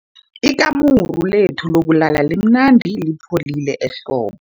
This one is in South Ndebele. Ikamuru lethu lokulala limnandi lipholile ehlobo.